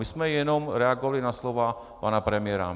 My jsme jenom reagovali na slova pana premiéra.